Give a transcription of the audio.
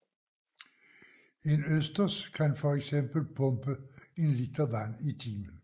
En østers kan fx pumpe en liter vand i timen